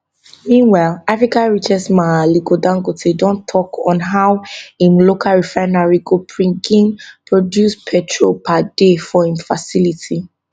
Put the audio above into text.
meanwhile africa richest man aliko dangote don tok on how im local refinery go begin produce petrol per day for im facility